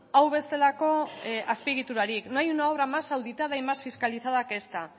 hau bezalako azpiegiturarik no hay una obra más auditada y más fiscalizada que esta